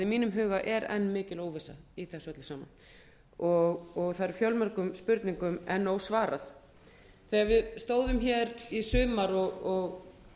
mínum huga er enn mikil óvissa í þessu öllu saman og það er fjölmörgum spurningum enn ósvarað þegar við stóðum hér í haust